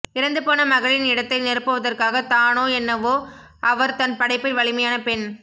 இறந்து போன மகளின் இடத்தை நிரப்புவதற்காகத் தானோ என்னவோ அவர் தன் படைப்பில் வலிமையான பெண்